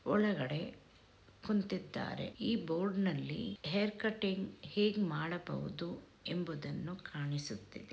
ಒಳಗಡೆ ಕುಂತಿದ್ದಾರೆ ಈ ಬೋರ್ಡಿನಲ್ಲಿ ಹೇರ್ ಕಟಿಂಗ್ ಹೇಗ್ ಮಾಡಬಹುದು ಎಂಬುದನ್ನು ಕಾಣಿಸುತ್ತಿದೆ.